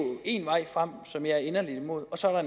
en vej frem som jeg er inderlig imod så er